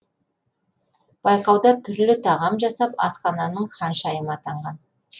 байқауда түрлі тағам жасап асхананың ханшайымы атанған